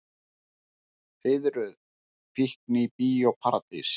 Fiðruð fíkn í Bíó Paradís